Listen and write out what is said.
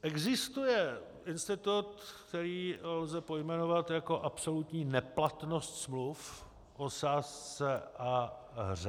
Existuje institut, který lze pojmenovat jako absolutní neplatnost smluv o sázce a hře.